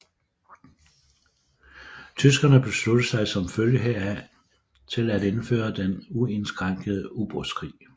Tyskerne besluttede sig som følge heraf til at indføre den uindskrænkede ubådskrig